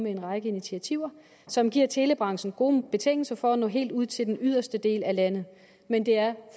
en række initiativer som giver telebranchen gode betingelser for at nå helt ud til den yderste del af landet men det er